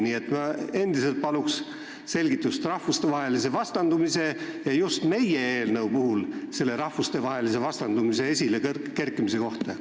Nii et ma endiselt palun selgitust rahvuste vastandamise ja just meie eelnõus selle rahvuste vastandamise esilekerkimise kohta.